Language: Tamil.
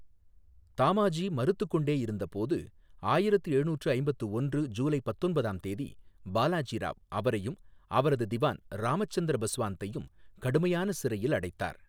தாமாஜி மறுத்துக்கொண்டே இருந்தபோது, ஆயிரத்து எழுநூற்று ஐம்பத்து ஒன்று ஜூலை பத்தொன்பதாம் தேதி, பாலாஜி ராவ் அவரையும் அவரது திவான் ராமச்சந்திர பஸ்வாந்தையும் கடுமையான சிறையில் அடைத்தார்.